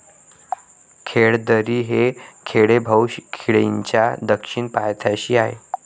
खेळदरी हे खेडे भाऊ खिंडीच्या दक्षिण पायथ्याशी आहे.